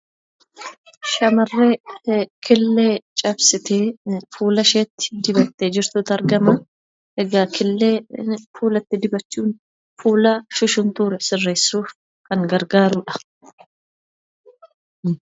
Shamarree killee cabsitee fuulasheetti dibdee jirtutu argama. Egaa, killee fuulatti dibachuun fuula shushuntuure sisirreessuuf kan gargaarudha.